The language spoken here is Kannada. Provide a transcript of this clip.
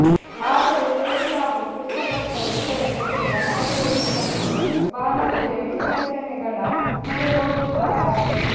ಆದರೆ ಸೇಡಿಯಾಪು ಕೃಷ್ಣಭಟ್ಟರು ಇದರ ಜೊತೆಗೆ ಅಮರಕೋಶ ಮತ್ತು ಭಾನೋಜಿಯ ವಿಶ್ಲೇಷಣೆಗಳ ಮೊರೆ ಹೋಗುತ್ತಾರೆ